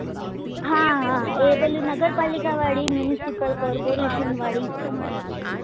હા હા પેલી નગરપાલિકા વાળી municipal corporation વાળી